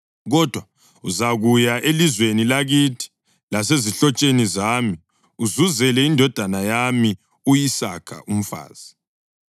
kodwa uzakuya elizweni lakithi lasezihlotsheni zami uzuzele indodana yami u-Isaka umfazi.”